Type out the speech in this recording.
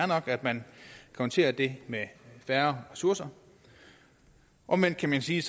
nok at man konterer det med færre ressourcer omvendt kan man sige